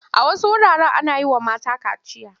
A wasu wuraren ana yi wa mata kaciya.